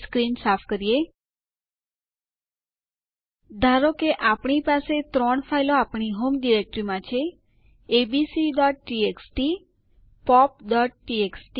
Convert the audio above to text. ચાલો હવે યુઆઇડી અને ગિડ આદેશો વિશે ચર્ચા કરીએ